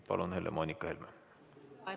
Palun, Helle-Moonika Helme!